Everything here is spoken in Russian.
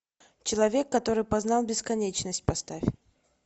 человек который познал бесконечность поставь